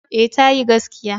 Eh tayi gaskiya.